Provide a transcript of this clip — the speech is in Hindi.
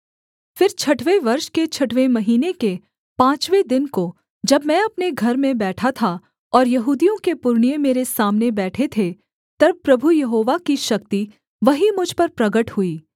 फिर छठवें वर्ष के छठवें महीने के पाँचवें दिन को जब मैं अपने घर में बैठा था और यहूदियों के पुरनिये मेरे सामने बैठे थे तब प्रभु यहोवा की शक्ति वहीं मुझ पर प्रगट हुई